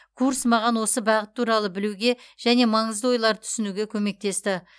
курс маған осы бағыт туралы білуге және маңызды ойларды түсінуге көмектесті